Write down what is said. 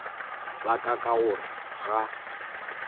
la ka ka gore ga